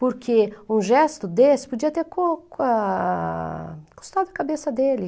Porque um gesto desse podia ter cu ah... custado a cabeça dele.